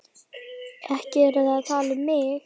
Ekki eruð þið að tala um mig?